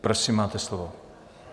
Prosím máte slovo.